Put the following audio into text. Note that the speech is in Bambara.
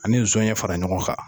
Ani zɔnɲɛ fara ɲɔgɔn kan.